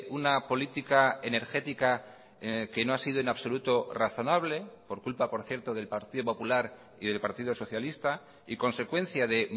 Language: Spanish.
una política energética que no ha sido en absoluto razonable por culpa por cierto del partido popular y del partido socialista y consecuencia de